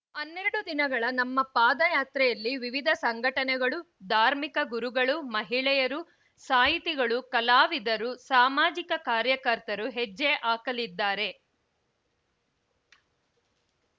ಹನ್ನೆರಡು ದಿನಗಳ ನಮ್ಮ ಪಾದಯಾತ್ರೆಯಲ್ಲಿ ವಿವಿಧ ಸಂಘಟನೆಗಳು ಧಾರ್ಮಿಕ ಗುರುಗಳು ಮಹಿಳೆಯರು ಸಾಹಿತಿಗಳು ಕಲಾವಿದರು ಸಾಮಾಜಿಕ ಕಾರ್ಯಕರ್ತರು ಹೆಜ್ಜೆ ಹಾಕಲಿದ್ದಾರೆ